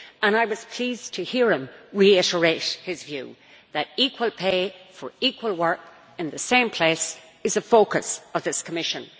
I was pleased to hear him reiterate his view that equal pay for equal work in the same place is a focus for this Commission.